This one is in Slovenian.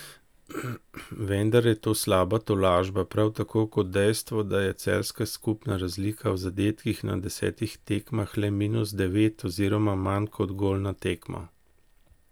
Vendar je to slaba tolažba, prav tako kot dejstvo, da je celjska skupna razlika v zadetkih na desetih tekmah le minus devet oziroma manj kot gol na tekmo.